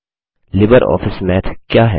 Libre Office Math क्या है